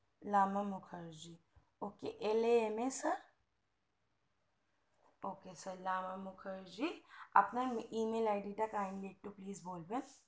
Lama Mukherjee ok lama sir ok sir Lama Mukherjee আপনার mail e mail id টা criyedly একটু please বলবেন